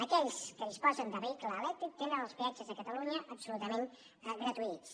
aquells que disposen de vehicle elèctric tenen els peatges de catalunya absolutament gratuïts